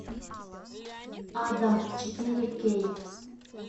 адам четыре кей